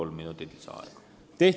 Kolm minutit lisaaega.